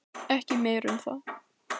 Ekki meira um það.